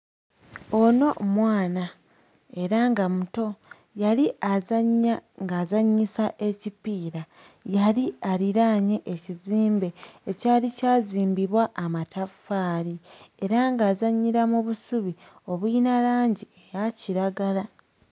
Ono mwana era nga muto yali azannya ng'azannyisa ekipiira yali aliraanye ekizimbe ekyali kyazimbibwa amataffaali era ng'azannyira mu busubi obuyina langi eya kiragala.